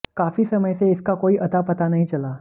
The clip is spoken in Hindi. काफी समय से इसका कोई अता पता नहीं चला